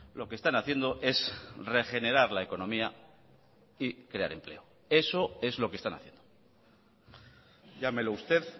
lo que están haciendo es regenerar la economía y crear empleo eso es lo que están haciendo llámelo usted